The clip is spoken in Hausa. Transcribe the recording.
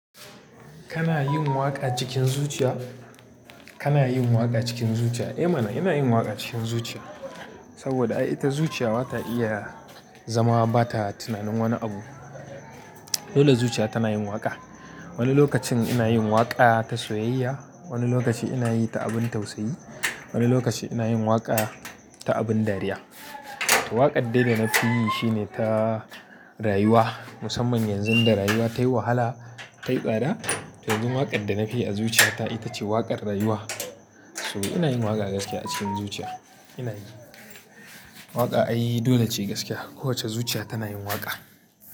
Kana yin waƙa cikin zuciya? Kana yin waƙa cikin zuciya? Eh mana ina yin waƙa cikin zuciya. Saboda ai ita zuciya ba ta iya zama ba ta tunanin wani abu. Dole zuciya tana yin waƙa. Wani lokacin ina yin waƙa ta soyayya, wani lokaci ina yi ta abin tausayi, wani lokaci ina yin waƙa ta abin dariya. To waƙar dai da na fi yi shine ta rayuwa. Musamman yanzu da rayuwa tayi wahala, tayi tsada. Yanzu waƙar da na fi yi a zuciya ta ita ce waƙar rayuwa. So ina yin waƙa gaskiya a cikin zuciya. Ina yi. Waƙa ai, dole ce gaskiya. Kowace zuciya tana yin waƙa.